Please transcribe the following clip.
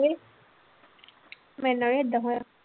ਮੇਰੇ ਨਾਲ ਨੀ ਏਦਾਂ ਹੋਇਆ।